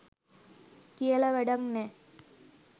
කියල වැඩැක් නැ